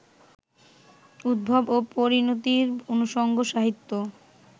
উদ্ভব ও পরিণতির অনুষঙ্গ সাহিত্য